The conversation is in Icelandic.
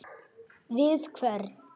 Við hvern?